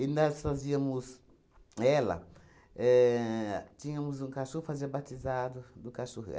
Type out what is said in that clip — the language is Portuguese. E nós fazíamos... Ela éh... Tínhamos um cachorro, fazia batizado do cachorro.